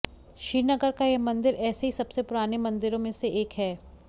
श्रीनगर का यह मंदिर ऐसे ही सबसे पुराने मंदिरों में से एक है